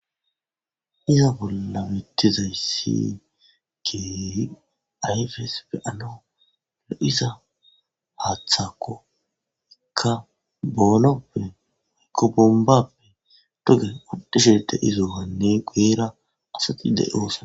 iza bolla mettizayssi keehi ayfes pe anoo lo7iza haaththako ekka boonoppe woykko bombappe duge udishede izowanne guera asati de7osa.